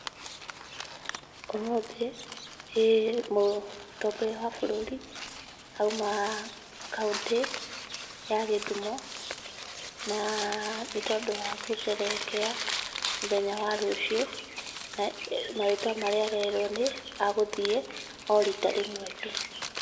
Umuthĩ mũtongoria wa bũrũri auma kaũntĩ ya Gĩthumo, na nĩ tondũ wa gucerehekea mũthenya wa rũciũ, na marĩtwa marĩa arerwo nĩ agũthiĩ o rita rĩmwe tu.